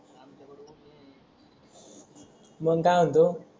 मंग काय मनतो.